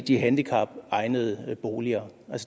de handicapegnede boliger